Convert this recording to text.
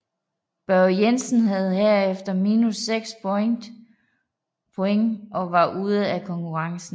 Børge Jensen havde herefter minus 6 point og var ude af konkurrencen